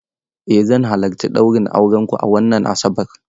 Eh zan halarci ɗaurin aurenku a wannan Asabar.